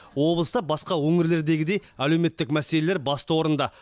облыста басқа өңірлердегідей әлеуметтік мәселелер басты орында